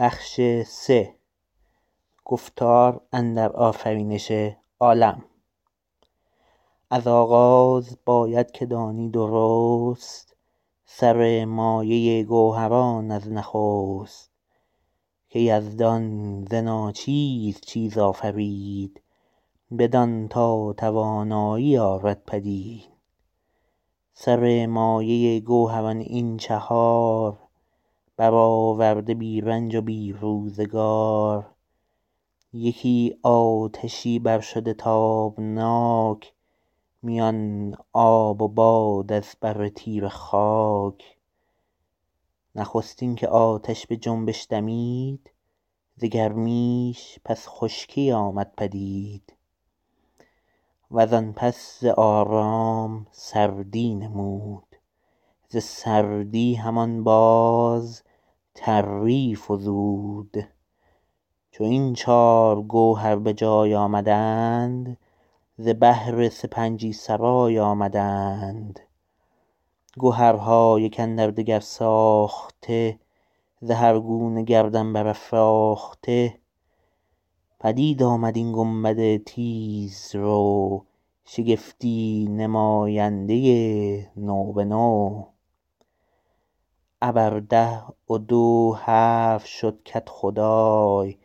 از آغاز باید که دانی درست سر مایه گوهران از نخست که یزدان ز ناچیز چیز آفرید بدان تا توانایی آرد پدید سر مایه گوهران این چهار برآورده بی رنج و بی روزگار یکی آتشی بر شده تابناک میان آب و باد از بر تیره خاک نخستین که آتش به جنبش دمید ز گرمیش پس خشکی آمد پدید و زان پس ز آرام سردی نمود ز سردی همان باز تری فزود چو این چار گوهر به جای آمدند ز بهر سپنجی سرای آمدند گهرها یک اندر دگر ساخته ز هر گونه گردن برافراخته پدید آمد این گنبد تیز رو شگفتی نماینده نو به نو ابر ده و دو هفت شد کدخدای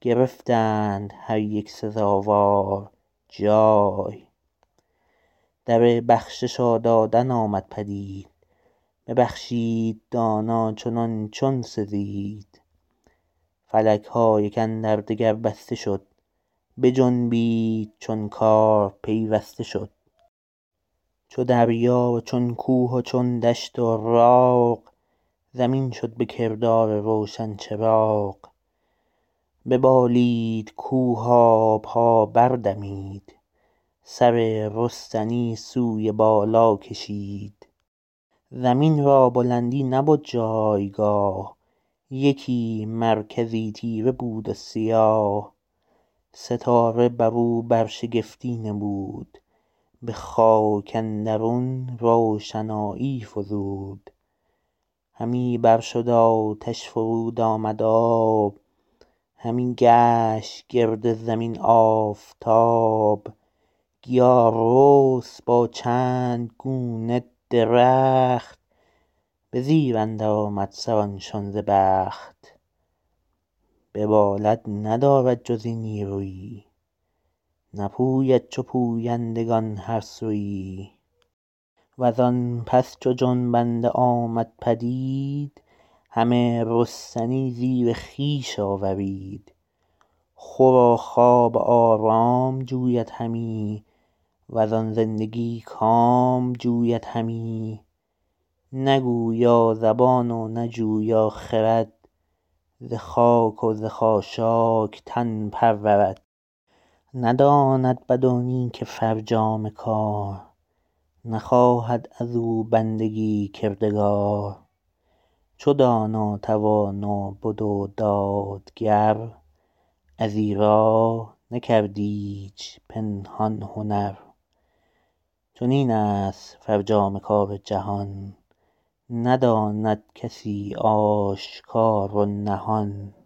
گرفتند هر یک سزاوار جای در بخشش و دادن آمد پدید ببخشید دانا چنان چون سزید فلک ها یک اندر دگر بسته شد بجنبید چون کار پیوسته شد چو دریا و چون کوه و چون دشت و راغ زمین شد به کردار روشن چراغ ببالید کوه آب ها بر دمید سر رستنی سوی بالا کشید زمین را بلندی نبد جایگاه یکی مرکزی تیره بود و سیاه ستاره بر او برشگفتی نمود به خاک اندرون روشنایی فزود همی بر شد آتش فرود آمد آب همی گشت گرد زمین آفتاب گیا رست با چند گونه درخت به زیر اندر آمد سران شان ز بخت ببالد ندارد جز این نیرویی نپوید چو پویندگان هر سویی و زان پس چو جنبنده آمد پدید همه رستنی زیر خویش آورید خور و خواب و آرام جوید همی و زان زندگی کام جوید همی نه گویا زبان و نه جویا خرد ز خاک و ز خاشاک تن پرورد نداند بد و نیک فرجام کار نخواهد از او بندگی کردگار چو دانا توانا بد و دادگر از ایرا نکرد ایچ پنهان هنر چنین است فرجام کار جهان نداند کسی آشکار و نهان